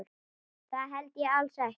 Það held ég alls ekki.